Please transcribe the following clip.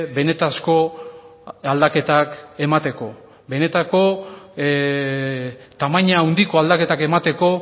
benetako aldaketak emateko benetako tamaina handiko aldaketak emateko